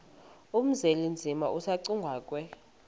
uzwelinzima asegcuwa ke